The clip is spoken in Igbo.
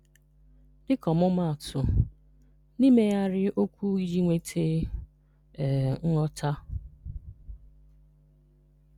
Dịka ọmụmaatụ, na-emegharị okwu iji nweta um nghọta.